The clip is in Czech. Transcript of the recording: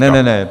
Ne, ne, ne.